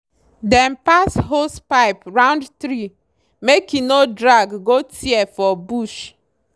dem pass hosepipe round tree make e no drag go tear for bush.